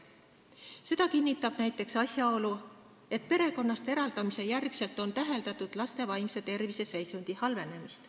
Seda kinnitab näiteks asjaolu, et pärast perekonnast eraldamist on täheldatud laste vaimse tervise halvenemist.